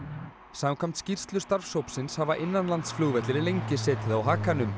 samkvæmt skýrslu starfshópsins hafa innanlandsflugvellir lengi setið á hakanum